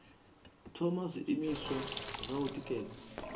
thoma zwiimiswa zwa u tikedza